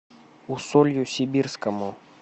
усолью сибирскому